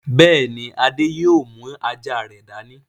Bẹ́ẹ̀ ni, Adé yóò mú ajá rẹ̀ dání.